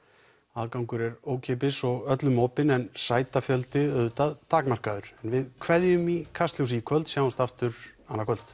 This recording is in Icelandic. aðgangur er ókeypis og öllum opinn en sætafjöldi auðvitað takmarkaður við kveðjum í Kastljósi í kvöld sjáumst aftur annað kvöld